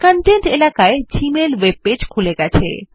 contents এলাকায় Gmail web পৃষ্ঠা খুলে গেছে